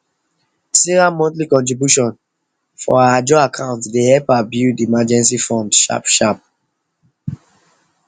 sarah monthly contribution for her ajo account de help her build emergency fund sharpsharp